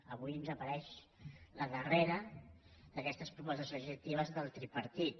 avui ens apareix la darre·ra d’aquestes propostes legislatives del tripartit